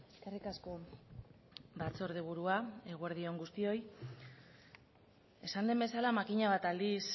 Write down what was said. eskerrik asko batzordeburua eguerdi on guztioi esan den bezala makina bat aldiz